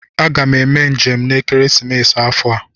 Aga m eme njem n'ekeresimesi afọ a